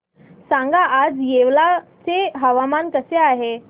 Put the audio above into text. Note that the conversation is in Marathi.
सांगा आज येवला चे हवामान कसे आहे